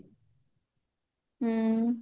ହୁଁ